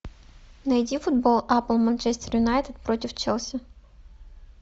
найди футбол апл манчестер юнайтед против челси